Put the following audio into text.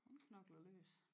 Hun knokler løs